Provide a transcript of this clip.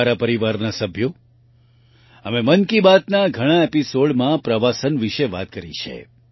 મારા પરિવારના સભ્યો મેં મન કી બાતના ઘણા એપિસોડમાં પ્રવાસન વિશે વાત કરી છે